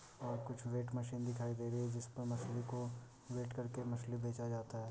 और कुछ weight machine दिखाई दे रही है जिस पे मछली को वेट कर के मछली बेचा जाता है।